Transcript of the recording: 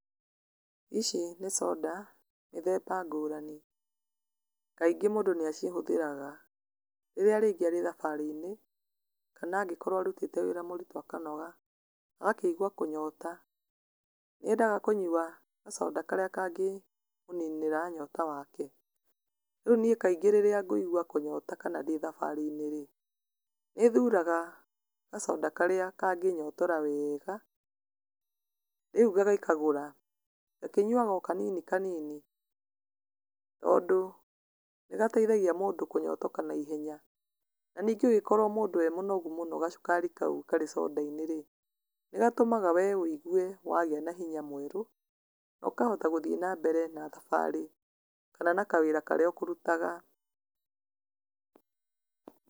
ici nĩ coda mĩthemba ngũrani, kaingĩ mũndũ nĩ acihũthagĩra rĩrĩa arĩngĩ arĩ thabarĩ-inĩ, kana angĩkorwo arutĩte wĩra mũrĩtũ ũkanoga, ũgakĩgwa kũnyota , nĩendaga kũnyua gacoda karĩa kangĩmũninĩra nyota wake, rĩu niĩ kaingĩ rĩrĩa ngũigwa kũnyota, kana ndĩthabarĩ-inĩ rĩ, nĩthuraga gacoda karĩa kangĩnyotora weega, rĩu ngagĩkagũra, ngakĩnyuaga kanini kanini, tondũ nĩ gateithagia mũndũ kũnyotoka naihenya, na ningĩ ũngĩkorwo mũndũ e mũnogu mũno gacukari kau karĩ gacoda-inĩ rĩ, nĩ gatũmaga we wĩgwe wagĩa nahinya mwerũ, nokahota gũthiĩ na mbere na thabarĩ, kana na kawĩra karĩa kũrutaga.